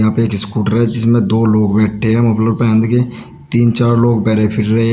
यहां पे एक स्कूटर है जिसमें दो लोग बैठे हैं मफलर पहंध के तीन चार लोग बरे फिर रहे हो--